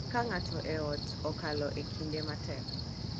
Ka ng’ato e ot okalo e kinde matek,